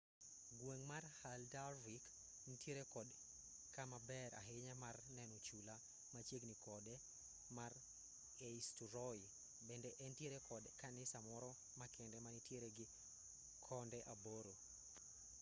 gweng' mar haldarvik nitiere kod kama ber ahinya mar neno chula machiegni kode mar eysturoy bende entiere kod kanisa moro makende manitiere gi konde aboro